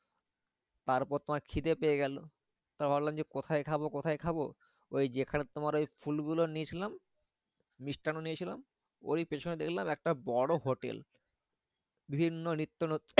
তারপর তোমার খিদে পেয়ে গেলো। তা ভাবলাম যে কোথায় খাবো কোথায় খাবো? ওই যেখানে তোমার ওই ফুলগুলো নিয়েছিলাম মিষ্টান্ন নিয়েছিলাম। ওরি পেছনে দেখলাম একটা বড় হোটেল বিভিন্ন নিত্য নতুন